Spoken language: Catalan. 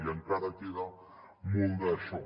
i encara queda molt d’això